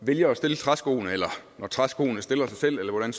vælger at stille træskoene eller når træskoene stiller sig selv eller hvordan